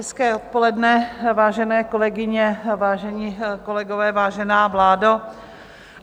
Hezké odpoledne, vážené kolegyně, vážení kolegové, vážená vládo.